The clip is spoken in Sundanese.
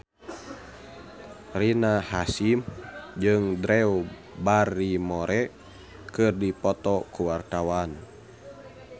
Rina Hasyim jeung Drew Barrymore keur dipoto ku wartawan